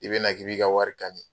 I bɛna k'i b'i ka wari kani